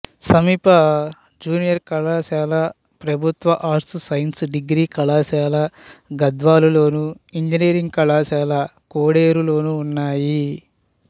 సమీప జూనియర్ కళాశాల ప్రభుత్వ ఆర్ట్స్ సైన్స్ డిగ్రీ కళాశాల గద్వాలలోను ఇంజనీరింగ్ కళాశాల కోడేరులోనూ ఉన్నాయి